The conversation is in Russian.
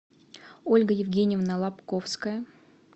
ольга евгеньевна лобковская